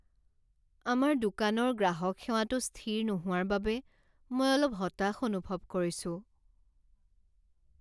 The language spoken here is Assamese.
আমাৰ দোকানৰ গ্ৰাহক সেৱাটো স্থিৰ নোহোৱাৰ বাবে মই অলপ হতাশ অনুভৱ কৰিছোঁ।